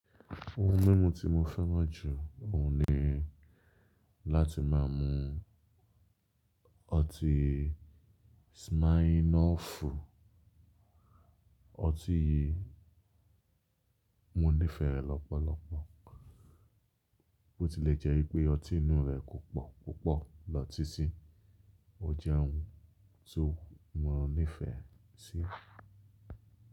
Ohun mímu tí mo fẹ́ràn jù ọ̀un ni láti máa mu ọtí smirnoff. Ọtí yìí, mo ní ífẹ̀ rẹ̀ lọ́pọ̀lọpọ̀, bí ó tilè jẹ́ wípé ọtí inú rẹ̀ kò pò púpọ̀ lọ títí, ó jẹ́ ohun tí mo ní ìfẹ́ sí.